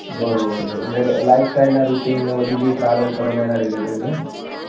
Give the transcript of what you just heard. બરોબર છે એટલે કે lifestyle ના routine ને બધું જે travel કરો ને એના related થી ને